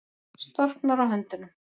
Storknar á höndunum.